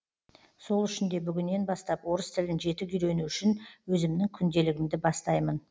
сол үшін де бүгіннен бастап орыс тілін жетік үйрену үшін өзімнің күнделігімді бастаймын